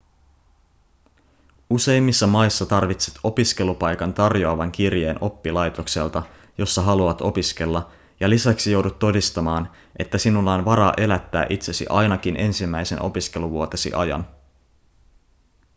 useimmissa maissa tarvitset opiskelupaikan tarjoavan kirjeen oppilaitokselta jossa haluat opiskella ja lisäksi joudut todistamaan että sinulla on varaa elättää itsesi ainakin ensimmäisen opiskeluvuotesi ajan